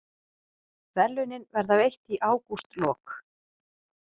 Verðlaunin verða veitt í ágústlok